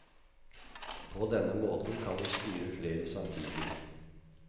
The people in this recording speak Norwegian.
På denne måten kan du styre flere samtidig.